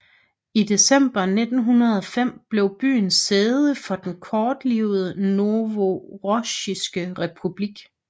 I december 1905 blev byen sæde for den kortlivede Novorossijske Republik